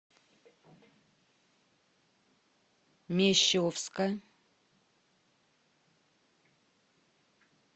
мещовска